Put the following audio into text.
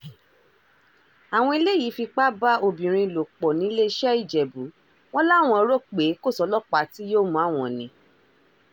àwọn eléyìí fipá bá obìnrin lò pọ̀ nìlẹ́sẹ̀-ìjẹ̀bù wọn làwọn rò pé kò sọ́lọ́pàá tí yóò mú àwọn ni